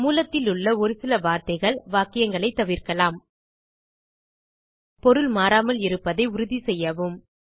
மூலத்திலுள்ள ஒரு சில வார்த்தைகள் வாக்கியங்களைத் தவிர்க்கலாம் பொருள் மாறாமல் இருப்பதை உறுதி செய்யவும்